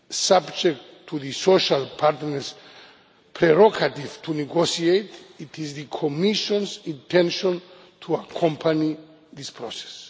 Subject to the social partners' prerogative to negotiate, it is the Commission's intention to accompany this process.